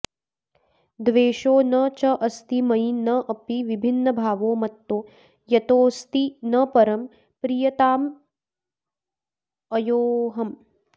द्वेषो न चास्ति मयि नापि विभिन्नभावो मत्तो यतोऽस्ति न परं प्रियतामयोऽहम्